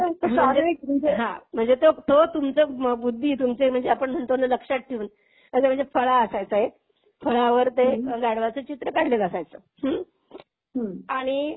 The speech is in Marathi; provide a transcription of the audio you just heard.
हो हो म्हणजे? शाळेत म्हणजे हा, म्हणजे तो तुमचं बुद्धी, तुमचे म्हणजे आपण म्हणतो ना, लक्षात ठेऊन पहिलं म्हणजे फळा असायचा एक. फळ्यावर ते गाढवाचं चित्र काढलेलं असायचं. हां? आणि ज्याच्याकडे